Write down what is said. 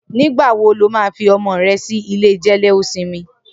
Nigbà wó ló mà fi ọmọ rè si ilé jẹléósìmì?